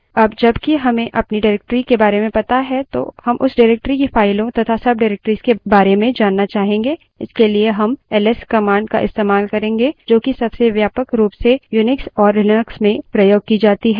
अब जब कि हमें अपनी directory के बारे में पता है तो हम उस directory की फाइलों तथा subdirectories के बारे में जानना चाहेंगे इसके लिए हम ls command का इस्तेमाल करेंगे जो कि सबसे व्यापक रूप से unix और लिनक्स में प्रयोग की जाती है